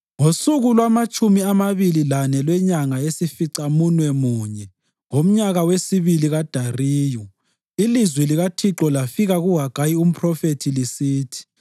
Ngosuku lwamatshumi amabili lane lwenyanga yesificamunwemunye, ngomnyaka wesibili kaDariyu, ilizwi likaThixo lafika kuHagayi umphrofethi lisithi: